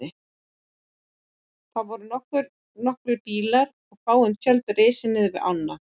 Þar voru nokkrir bílar og fáein tjöld risin niðri við ána.